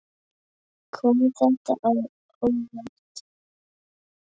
Kom þetta á óvart?